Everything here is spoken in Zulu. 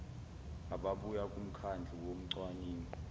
ababuya kumkhandlu wocwaningo